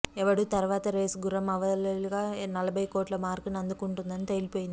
ఎవడు తర్వాత రేసుగుర్రం అవలీలగా నలభై కోట్ల మార్కుని అందుకుంటుందని తేలిపోయింది